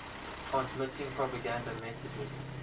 transmitting propaganda messages